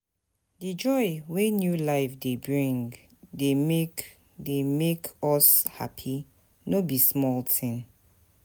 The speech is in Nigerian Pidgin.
Di joy wey new life bring dey make dey make us happy, no be small tin.